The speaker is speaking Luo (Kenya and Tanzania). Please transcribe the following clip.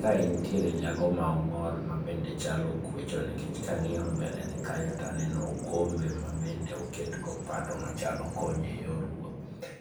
kae nitiere jago ma ongol ma bende chalo kwacho nikech kang'iyo mbele ne kanyo taneno okombe ma bende oket gokombe manyalo konyo e yor wuoth